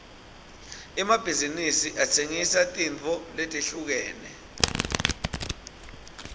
emabhizinsi atsengisa tintfo letehlukene